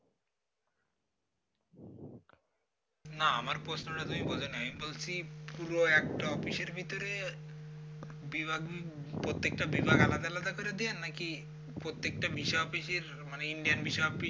না আমার প্রশ্নটা তুমি বোঝো নাই আমি বলছি পুরো একটা অফিসের ভিতরে বিভাগ প্রত্যেক টা বিভাগ আলাদা আলাদা করে দেওয়া নাকি প্রত্যেকটা ভিসা office র মানে indian visa office